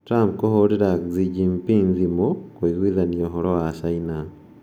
Trump kũhũrĩra Xi Jinping thimũ na kũiguithania ũhoro wa China